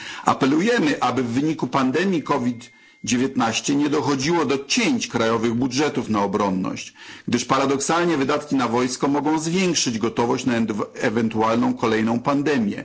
Apelujemy, aby w wyniku pandemii COVID 19 nie dochodziło do cięć krajowych budżetów na obronność, gdyż paradoksalnie wydatki na wojsko mogą zwiększyć gotowość na ewentualną kolejną pandemię.